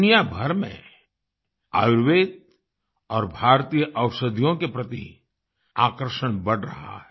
दुनियाभर में आयुर्वेद और भारतीय औषधियों के प्रति आकर्षण बढ़ रहा है